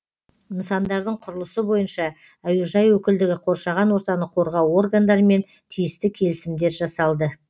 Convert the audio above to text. нысандардың құрылысы бойынша әуежай өкілдігі қоршаған ортаны қорғау органдарымен тиісті келісімдер жасалды